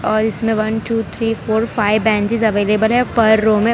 और इसमें one two three four five benches available है पर रो में।